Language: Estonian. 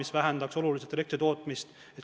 See vähendaks oluliselt elektri tootmist.